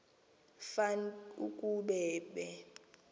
fan ukuba be